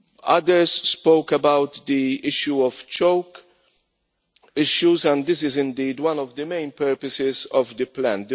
Others spoke about the issue of choke and this is indeed one of the main purposes of the plan.